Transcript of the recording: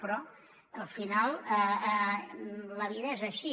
però al final la vida és així